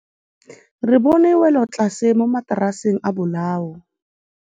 Re bone wêlôtlasê mo mataraseng a bolaô.